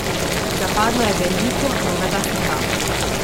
Zapadlo je veliko novega snega.